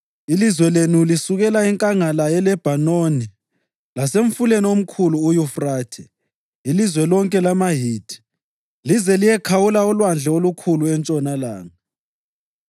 Ilizwe lenu lizasukela enkangala yeLebhanoni lasemfuleni omkhulu uYufrathe, ilizwe lonke lamaHithi, lize liyekhawula olwandle olukhulu entshonalanga.